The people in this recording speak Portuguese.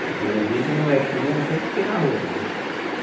Porque desde molequinho eu sempre fiquei na rua, cara.